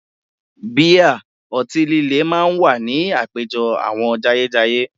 Bíà, ọtí líle máa wà ní àpéjọ àwọn jayéjayé